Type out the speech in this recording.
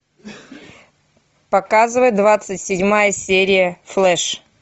показывай двадцать седьмая серия флэш